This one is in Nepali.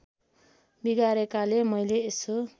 बिगारेकाले मैले यसो